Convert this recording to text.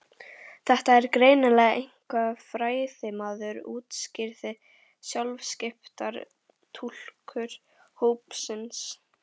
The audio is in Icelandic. Þetta er greinilega einhver fræðimaður útskýrði sjálfskipaður túlkur hópsins.